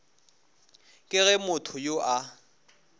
ke ge motho yo a